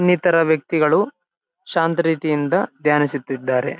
ಇನ್ನಿತರ ವ್ಯಕ್ತಿಗಳು ಶಾಂತ ರೀತಿಯಿಂದ ಧ್ಯಾನಿಸುತ್ತಿದ್ದಾರೆ.